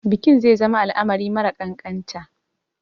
Bikin zai zama al'amari mara ƙanƙanta.